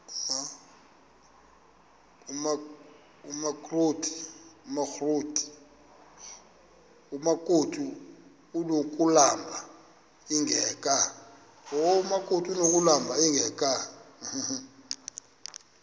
amakrot anokulamla ingeka